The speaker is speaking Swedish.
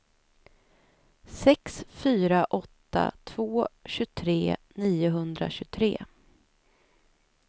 sex fyra åtta två tjugotre niohundratjugotre